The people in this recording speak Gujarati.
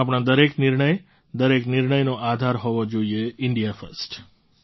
આપણા દરેક નિર્ણય દરેક નિર્ણયનો આધાર હોવો જોઈએ ઇન્ડિયા ફર્સ્ટ